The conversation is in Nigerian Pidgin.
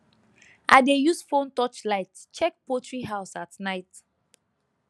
i dey use phone touch light check poultry house at night